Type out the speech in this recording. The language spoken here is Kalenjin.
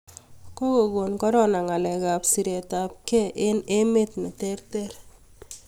kokogon korona ngalek ab siret ab kee eng emet ne ter ter